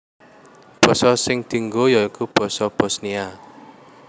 Basa sing dianggo ya iku basa Bosnia